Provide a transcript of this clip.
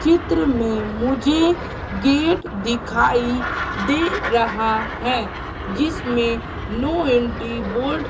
चित्र में मुझे गेट दिखाई दे रहा है जिसमें नो एंट्री बोर्ड --